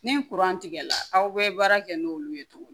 Ni tigɛ la aw bɛ baara kɛ n'olu ye tuguni